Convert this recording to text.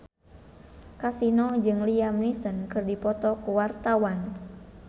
Kasino jeung Liam Neeson keur dipoto ku wartawan